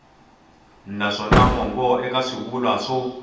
naswona mongo eka swivulwa swo